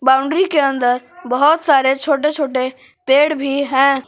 Boundary के अंदर बहुत सारे छोटे छोटे पेड़ भी हैं।